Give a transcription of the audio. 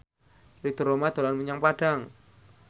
Ridho Roma dolan menyang Padang